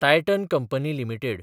Titan company limited